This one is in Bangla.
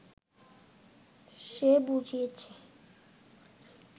সে বুঝিয়াছে